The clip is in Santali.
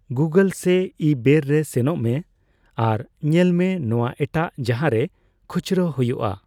ᱜᱩᱜᱚᱞ ᱥᱮ ᱤᱼᱵᱮᱹᱨ ᱨᱮ ᱥᱮᱱᱚᱜ ᱢᱮ ᱟᱨ ᱧᱮᱞ ᱢᱮ ᱱᱚᱣᱟ ᱮᱴᱟᱜ ᱡᱟᱦᱟᱸᱨᱮ ᱠᱷᱩᱪᱨᱟᱹ ᱦᱳᱭᱳᱜᱼᱟ ᱾